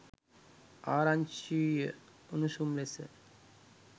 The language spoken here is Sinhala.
ආරංචිය උණුසුම් ලෙස